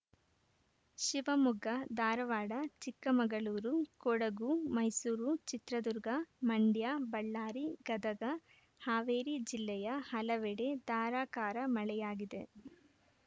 ಶಿವಮೊಗ್ಗ ಧಾರವಾಡ ಚಿಕ್ಕಮಗಳೂರು ಕೊಡಗು ಮೈಸೂರು ಚಿತ್ರದುರ್ಗ ಮಂಡ್ಯ ಬಳ್ಳಾರಿ ಗದಗ ಹಾವೇರಿ ಜಿಲ್ಲೆಯ ಹಲವೆಡೆ ಧಾರಾಕಾರ ಮಳೆಯಾಗಿದೆ